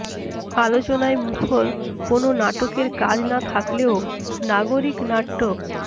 আলোচনায় মুখর কোনো নাটকের কাজ না থাকলেও নাগরিক নাট্য